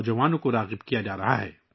گلیوں کے ڈراموں کے ذریعے کہیں اور